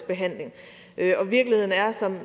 behandling og virkeligheden er som